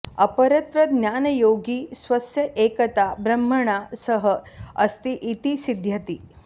अपरत्र ज्ञानयोगी स्वस्य एकता ब्रह्मणा सह अस्ति इति सिद्ध्यति